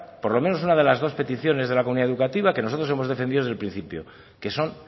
por lo menos una de las dos peticiones de la comunidad educativa que nosotros hemos defendido desde el principio que son